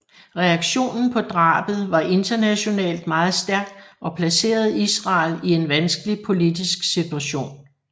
Reaktionen på drabet var internationalt meget stærk og placerede Israel i en vanskelig politisk situation